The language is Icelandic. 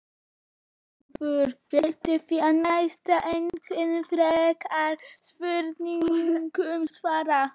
Sigurður vill því næst engum frekari spurningum svara.